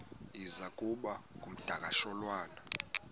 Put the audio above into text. iza kuba ngumdakasholwana